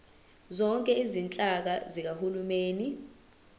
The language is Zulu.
zonke izinhlaka zikahulumeni